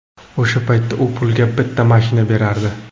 O‘sha paytda u pulga bitta mashina berardi.